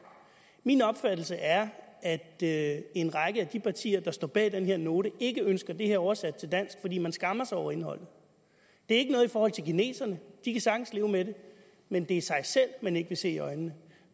min opfattelse er at at en række af de partier der står bag den her note ikke ønsker det her oversat til dansk fordi man skammer sig over indholdet det er ikke noget i forhold til kineserne de kan sagtens leve med det men det er sig selv man ikke vil se i øjnene